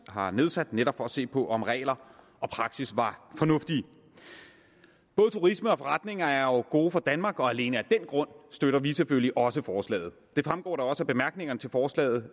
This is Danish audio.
har nedsat netop for at se på om regler og praksis var fornuftige både turisme og forretninger er jo gode for danmark og alene af den grund støtter vi selvfølgelig også forslaget det fremgår da også af bemærkningerne til forslaget